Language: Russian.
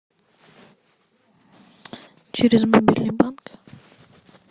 через мобильный банк